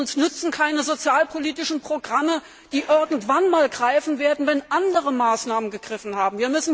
Uns nutzen keine sozialpolitischen Programme, die irgendwann einmal greifen werden, wenn andere Maßnahmen gegriffen haben.